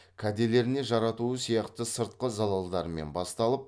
кәделеріне жаратуы сияқты сыртқы залалдарымен басталып